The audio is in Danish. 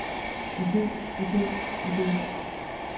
ide ide ide